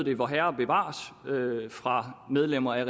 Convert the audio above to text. et vorherre bevares fra medlemmer af